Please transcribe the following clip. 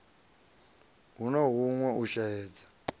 hu na huṅwe u shaedza